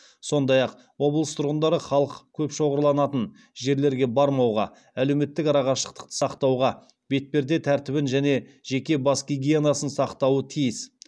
сондай ақ облыс тұрғындары халық көп шоғырланатын жерлерге бармауға әлеуметтік арақашықтықты сақтауға бетперде тәртібін және жеке бас гигиенасын сақтауы тиіс